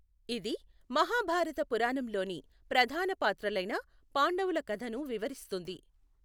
ఇది మహాభారత పురాణంలోని ప్రధాన పాత్రలైన పాండవుల కథను వివరిస్తుంది.